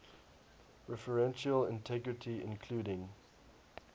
referential integrity including